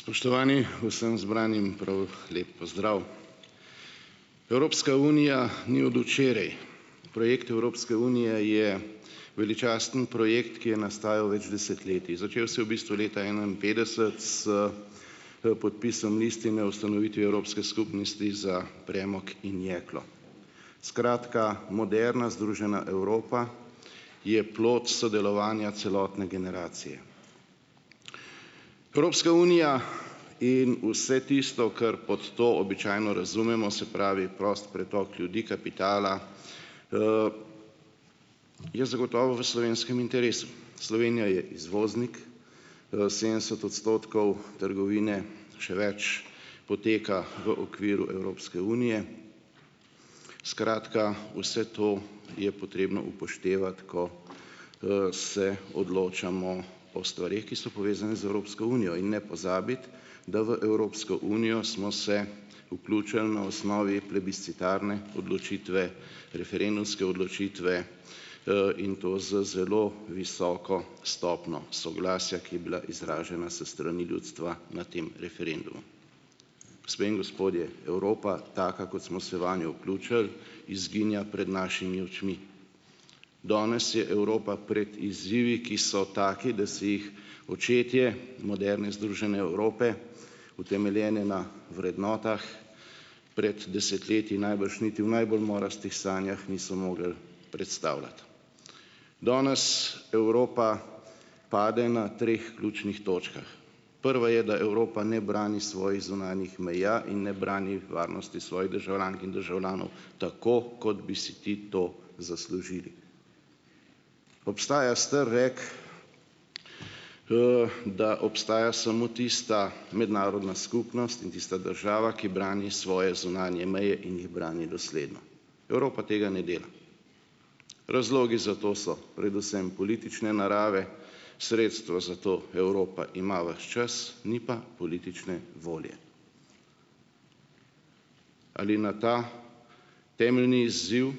Spoštovani, vsem zbranim prav lep pozdrav. Evropska unija ni od včeraj, projekt Evropske unije je veličasten projekt, ki je nastajal več desetletij, začel se je v bistvu leta enainpetdeset s, podpisom listine o ustanovitvi Evropske skupnosti za premog in jeklo, skratka, moderna združena Evropa je plod sodelovanja celotne generacije, Evropska unija in vse tisto, kar pod to običajno razumemo, se pravi prost pretok ljudi, kapitala, je zagotovo v slovenskem interesu, Slovenija je izvoznik, sedemdeset odstotkov trgovine, še več, poteka v okviru Evropske unije, skratka, vse to je potrebno upoštevati, ko se odločamo o stvareh, ki so povezane z Evropsko unijo, in ne pozabiti da v Evropsko unijo smo se vključili na osnovi plebiscitarne odločitve, referendumske odločitve, in to z zelo visoko stopnjo soglasja, ki je bila izražena s strani ljudstva na tem referendumu. Gospe in gospodje, Evropa, taka, kot smo se vanjo vključili, izginja pred našimi očmi, danes je Evropa pred izzivi, ki so taki, da si jih očetje moderne združene Evrope, utemeljene na vrednotah, pred desetletji najbrž niti v najbolj morastih sanjah niso mogli predstavljati, danes Evropa pade na treh ključnih točkah: prva je, da Evropa ne brani svojih zunanjih meja in ne brani varnosti svojih državljank in državljanov, tako kot bi si ti to zaslužili, obstaja star rek, da obstaja samo tista mednarodna skupnost in tista država, ki brani svoje zunanje meje in jih brani dosledno, Evropa tega ne dela, razlogi za to so predvsem politične narave, sredstva za to Evropa ima ves čas, ni pa politične volje, ali na ta temeljni izziv,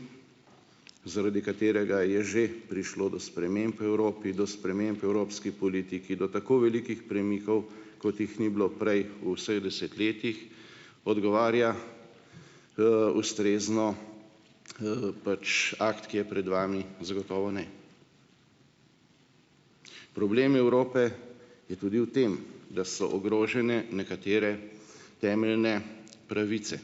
zaradi katerega je že prišlo do sprememb v Evropi, do sprememb v evropski politiki do tako velikih premikov, kot jih ni bilo prej v vseh desetletjih, odgovarja, ustrezno, pač akt, ki je pred vami zagotovo ne, problem Evrope je tudi v tem, da so ogrožene nekatere temeljne pravice,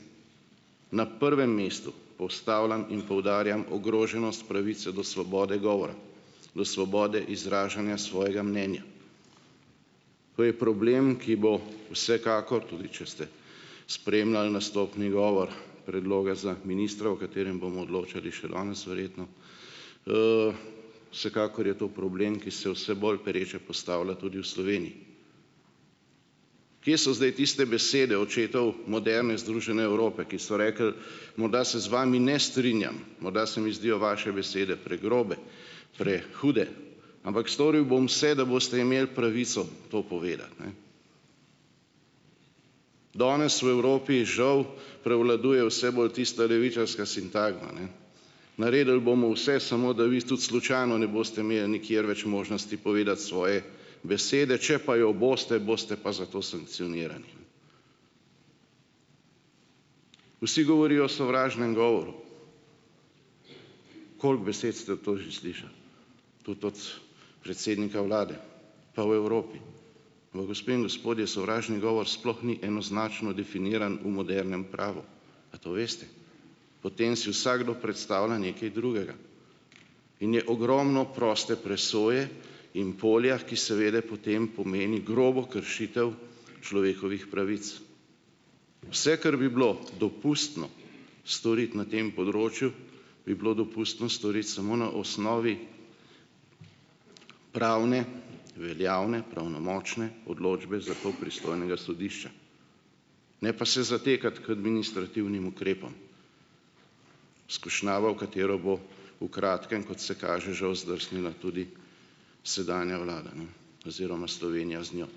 na prvem mestu postavljam in poudarjam ogroženost pravice do svobode govora, do svobode izražanja svojega mnenja, to je problem, ki bo vsekakor tudi, če ste spremljali nastopni govor predloga za ministra, o katerem bomo odločali še danes verjetno, vsekakor je to problem, ki se vse bolj pereče postavlja tudi v Sloveniji, kje so zdaj tiste besede očetov moderne združene Evrope, ki so rekli: "Morda se z vami ne strinjam, morda se mi zdijo vaše besede pregrobe, prehude, ampak storil bom vse, da boste imeli pravico to povedati, ne." Danes v Evropi žal prevladuje vse bolj tista levičarska sintagma, ne: "Naredili bomo vse, samo da vi tudi slučajno imeli nikjer več možnosti povedati svoje besede, če pa jo boste, boste pa za to sankcionirani." Vsi govorijo o sovražnem govoru, koliko besed ste v to že slišali, tudi od predsednika vlade, pa v Evropi, pa gospe in gospodje, sovražni govor sploh ni enoznačno definiran v modernem pravu. A to veste? Potem si vsakdo predstavlja nekaj drugega in je ogromno proste presoje in polja, ki seveda potem pomeni grobo kršitev človekovih pravic, vse, kar bi bilo dopustno storiti na tem področju, bi bilo dopustno storiti samo na osnovi pravne veljavne pravnomočne odločbe sodišča, ne pa se zatekati k administrativnim ukrepom, skušnjava, v katero bo v kratkem, kot se kaže, žal zdrsnila tudi sedanja vlada, ne, oziroma Slovenija z njo,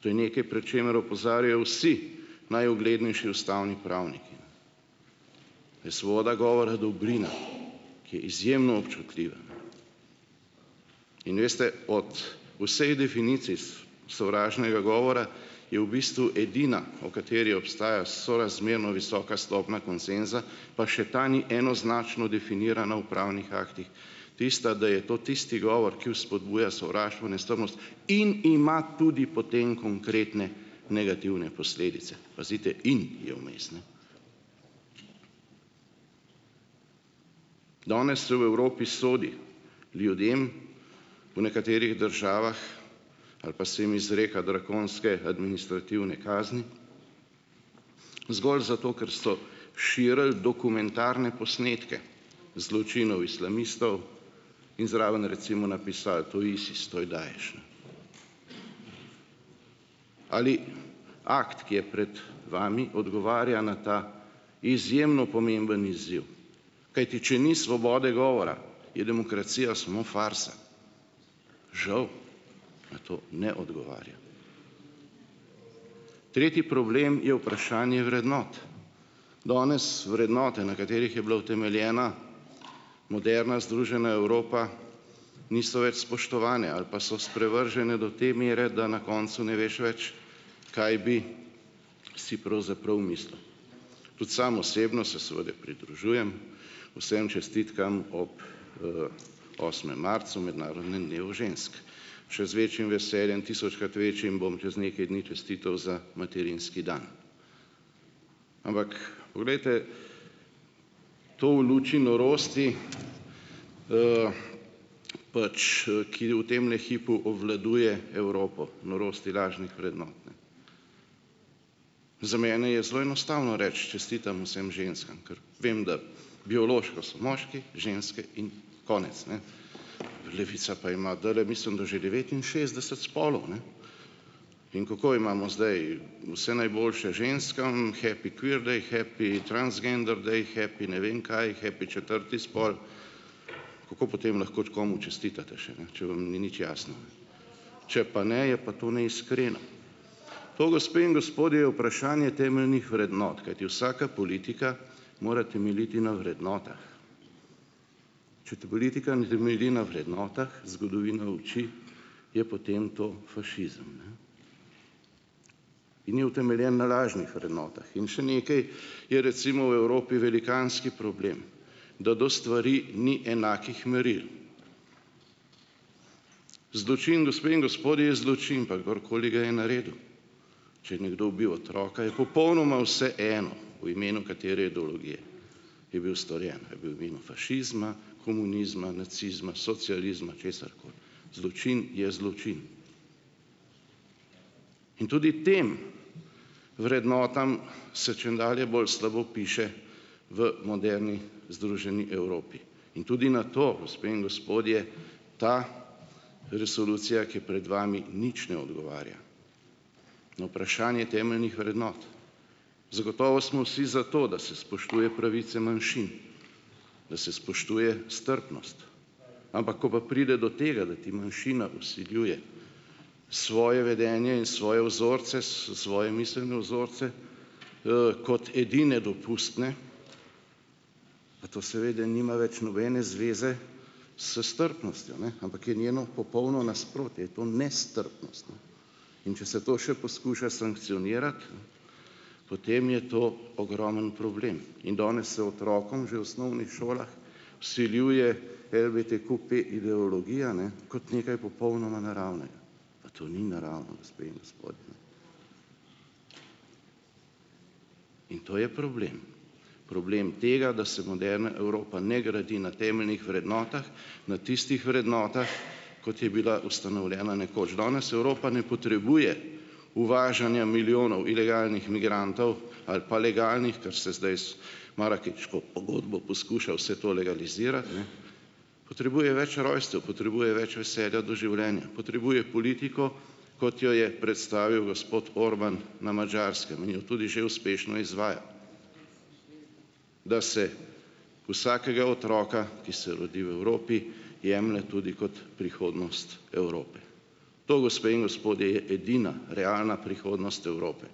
to je nekaj, pred čemer opozarjajo vsi najuglednejši ustavni pravniki, je svoboda govora dobrina, ki je izjemno občutljiva, in, veste, od vseh definicij sovražnega govora je v bistvu edina, o kateri obstaja sorazmerno visoka stopna konsenza, pa še ta ni enoznačno definirana v pravnih aktih, tista, da je to tisti govor, ki vzpodbuja sovraštvo in nestrpnost in ima tudi potem konkretne negativne posledice, pazite, in je vmes, ne, danes se v Evropi sodi ljudem po nekaterih državah ali pa se jim izreka vrhunske administrativne kazni zgolj zato, ker so širili dokumentarne posnetke zločinov islamistov in zraven recimo napisali, ali akt, ki je pred vami, odgovarja na ta izjemno pomemben izziv, kajti če ni svobode govora, je demokracija samo farsa. Žal na to ne odgovarja. Tretji problem je vprašanje vrednot. Danes vrednote, na katerih je bila utemeljena moderna združena Evropa, niso več spoštovane ali pa so sprevržene do te mere, da na koncu ne veš več, kaj bi si pravzaprav mislil. Tudi sam osebno se seveda pridružujem vsem čestitkam ob, osmem marcu, mednarodnem dnevu žensk, še z večjim veseljem, tisočkrat večjim, bom čez nekaj dni čestital za materinski dan, ampak poglejte, to v luči norosti, pač ki v temle hipu obvladuje Evropo, norosti lažnih vrednot, za mene je zelo enostavno reči: "Čestitam vsem ženskam, ker vem, da biološko so moški, ženske in konec, ne." Levica pa ima dlje, mislim, da že devetinšestdeset spolov, ne, in kako imamo zdaj vse najboljše ženskam, happy queer day, happy transgender day, happy ne vem kaj, happy četrti spol. Kako potem lahko komu čestitate še, ne, če vam ni nič jasno, če pa ne, je pa to neiskreno, to, gospe in gospodje, je vprašanje temeljnih vrednot, kajti vsaka politika mora temeljiti na vrednotah, če ta politika ne temelji na vrednotah, zgodovina uči, je potem to fašizem, ni utemeljen na lažnih vrednotah in še nekaj, je recimo v Evropi velikanski problem, da do stvari ni enakih meril. Zločin, gospe in gospodje, je zločin, pa kdorkoli ga je naredil, če je nekdo ubil otroka, je popolnoma vseeno, v imenu katere ideologije je bil storjen, je bil v imenu fašizma komunizma, nacizma, socializma, česarkoli, zločin je zločin, in tudi tem vrednotam se čedalje bolj slabo piše v moderni združeni Evropi in tudi na to, gospe in gospodje, ta resolucija, ki je pred vami, nič ne odgovarja. Na vprašanje temeljnih vrednot, zagotovo smo vsi za to, da se spoštuje pravice manjšin, da se spoštuje strpnost, ampak ko pa pride do tega, da ti manjšina vsiljuje svoje vedenje in svoje vzorce, svoje miselne vzorce, kot edine dopustne, to seveda nima več nobene zveze s strpnostjo, ne, ampak je njeno popolno nasprotje, in to nestrpnost, in če se to še poskuša sankcionirati, potem je to ogromen problem in danes se otrokom že v osnovnih šolah vsiljuje ideologija, ne, kot nekaj popolnoma naravnega, pa to ni naravno, gospe in gospodje, in to je problem problem tega, da se moderna Evropa ne gradi na temeljnih vrednotah, na tistih vrednotah, kot je bila ustanovljena nekoč, danes Evropa ne potrebuje uvažanja milijonov ilegalnih migrantov ali pa legalnih, kar se zdaj z marakeško pogodbo poskuša vse to legalizirati, potrebuje več rojstev, potrebuje več veselja do življenja, potrebuje politiko, kot jo je predstavil gospod Orbán na Madžarskem, in jo tudi že uspešno izvajal. Da se vsakega otroka, ki se rodi v Evropi, jemlje tudi kot prihodnost Evrope, to, gospe in gospodje, je edina realna prihodnost Evrope,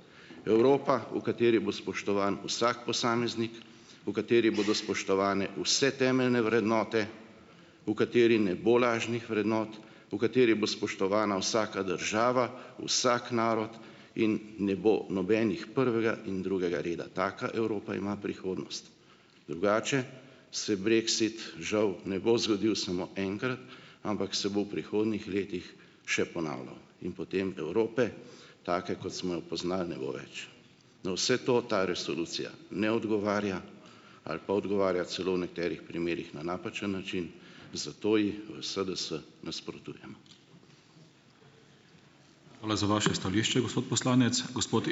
Evropa, v kateri bo spoštovan vsak posameznik, v kateri bodo spoštovane vse temeljne vrednote, v kateri ne bo lažnih vrednot, v kateri bo spoštovana vsaka država, vsak narod in ne bo nobenih prvega in drugega reda, taka Evropa ima prihodnost, drugače se brexit žav ne bo zgodil samo enkrat, ampak se bo v prihodnjih letih še ponavljal in potem Evrope, take, kot smo jo poznali, ne bo več. Na vse to ta resolucija ne odgovarja ali pa odgovarja celo v nekaterih primerih na napačen način, zato ji v SDS nasprotujemo. Hvala za vaše stališče, gospod poslanec gospod ...